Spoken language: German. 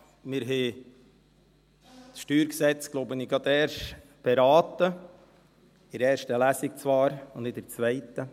Wir haben das StG, glaube ich, gerade erst beraten – in erster Lesung zwar, und nicht in der zweiten.